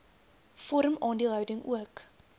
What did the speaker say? vorm aandeelhouding ook